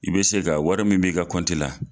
I be se ka wari min bɛ'i ka kɔnti la